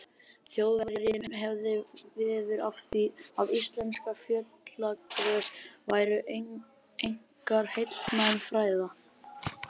Þjóðverjinn hafði veður af því, að íslensk fjallagrös væru einkar heilnæm fæða.